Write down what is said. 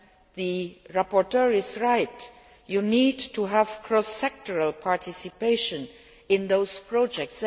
The rapporteur is right you need to have cross sectoral participation in those projects.